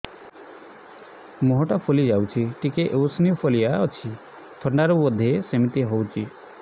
ମୁହଁ ଟା ଫୁଲି ଯାଉଛି ଟିକେ ଏଓସିନୋଫିଲିଆ ଅଛି ଥଣ୍ଡା ରୁ ବଧେ ସିମିତି ହଉଚି